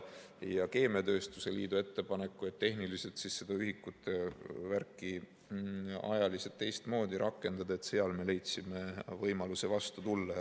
Keemiatööstuse liidu ettepanekule, et tehniliselt seda ühikute värki ajaliselt teistmoodi rakendada, me leidsime võimaluse vastu tulla.